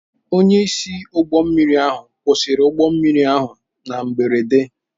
Onyeisi ụgbọ mmiri ahụ kwụsịrị ụgbọ mmiri ahụ na mberede.